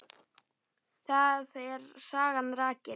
Þar er sagan rakin.